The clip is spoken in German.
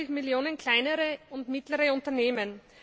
23 Millionen kleinere und mittlere Unternehmen.